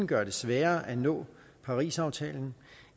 gøre det sværere at nå parisaftalen